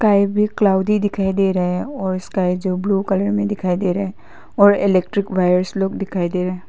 cloudy दिखाई दे रहे है और उसका स्काई जो ब्लू कलर में दिखाई दे रहे और इलेक्ट्रिक वायर्स लोग दिखाई दे रहे--